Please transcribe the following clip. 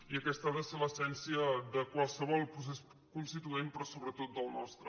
i aquesta ha de ser l’es·sència de qualsevol procés constituent però sobretot del nostre